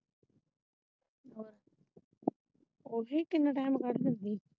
ਓਹੀਂ ਕਿੰਨਾ ਟਾਈਮ ਕੱਢ ਦਿੰਦੀ।